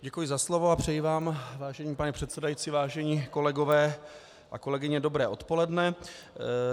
Děkuji za slovo a přeji vám, vážený pane předsedající, vážení kolegové a kolegyně, dobré odpoledne.